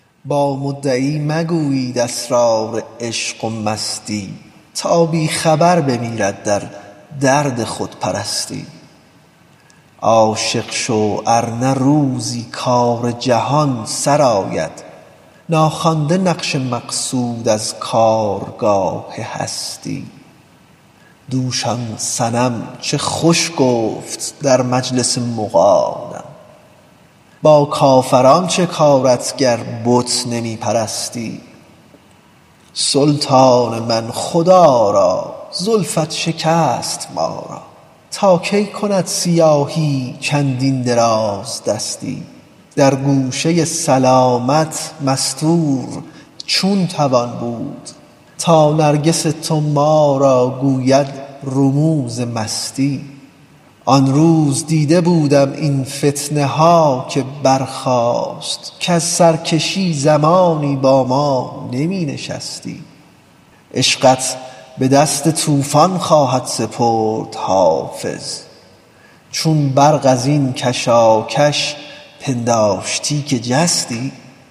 با مدعی مگویید اسرار عشق و مستی تا بی خبر بمیرد در درد خودپرستی عاشق شو ار نه روزی کار جهان سرآید ناخوانده نقش مقصود از کارگاه هستی دوش آن صنم چه خوش گفت در مجلس مغانم با کافران چه کارت گر بت نمی پرستی سلطان من خدا را زلفت شکست ما را تا کی کند سیاهی چندین درازدستی در گوشه سلامت مستور چون توان بود تا نرگس تو با ما گوید رموز مستی آن روز دیده بودم این فتنه ها که برخاست کز سرکشی زمانی با ما نمی نشستی عشقت به دست طوفان خواهد سپرد حافظ چون برق از این کشاکش پنداشتی که جستی